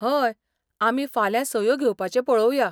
हय, आमी फाल्यां सयो घेवपाचें पळोवया.